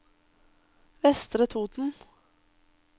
Vestre Toten